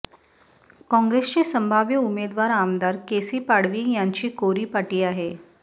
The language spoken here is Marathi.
काँग्रेसचे संभाव्य उमेदवार आमदार केसी पाडवी यांची कोरी पाटी आहे